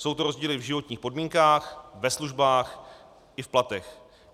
Jsou to rozdíly v životních podmínkách, ve službách i v platech.